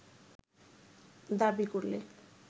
দাবি করলে